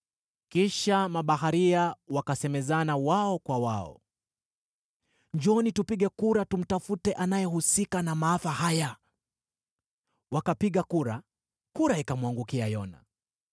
Kisha mabaharia wakasemezana wao kwa wao, “Njooni, tupige kura tumtafute anayehusika na maafa haya.” Wakapiga kura, kura ikamwangukia Yona.